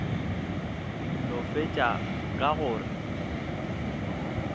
no fetša ka go re